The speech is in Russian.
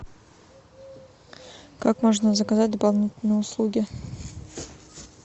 как можно заказать дополнительные услуги